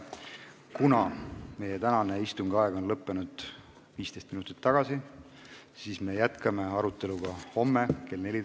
Kuna meie tänase istungi aeg lõppes 15 minutit tagasi, siis me jätkame arutelu homme kell 14.